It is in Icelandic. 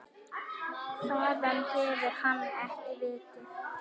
Þaðan hefur hann ekki vikið.